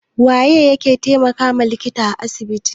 Waye yake taimakawa likita a asibiti?